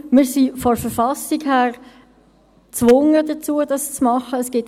Wir sind von der Verfassung her dazu gezwungen, dies zu gewährleisten.